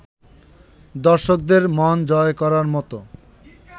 দর্শকদের মন জয় করার মতো